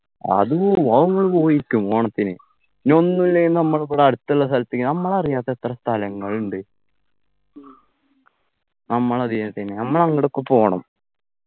അത് പോവും അത് നമ്മള് പോയിരിക്കും ഓണത്തിന് ഇനി ഒന്നും ഇല്ലേ നമ്മൾകിവട അടുത്ത്ള്ള സ്ഥലത്തേക്ക് നമ്മളറിയാത്ത എത്ര സ്ഥലങ്ങള്ണ്ട് നമ്മളറിയാത്ത നമ്മളെങ്ങോടൊക്കെ പോണം